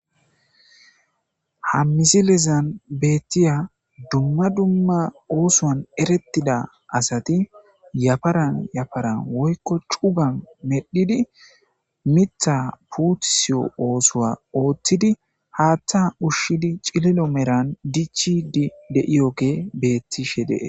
hH.amizilezan beettiya dumma dumma oosoan erettida asati yafaran yafara woykko cuga medhidi mitha puutusiyo oosowa ooththidi haaththa ushshidi cililo meran dichi di de7iyoge beettishe dee.